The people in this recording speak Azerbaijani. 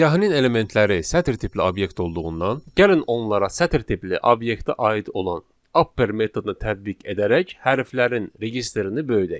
Siyahının elementləri sətr tipli obyekt olduğuından, gəlin onlara sətr tipli obyektə aid olan upper metodunu tətbiq edərək hərflərin registrini böyüdək.